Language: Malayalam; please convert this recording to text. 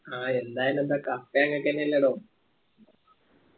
ആ എന്തായാലും എന്താ cup ഞങ്ങൾക്കെന്നെല്ലടോ